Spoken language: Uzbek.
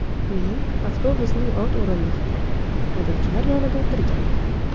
Men avtobusning old o‘rindig‘ida haydovchilar yonida o‘tirgandim.